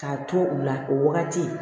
K'a to u la o wagati